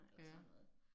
Ja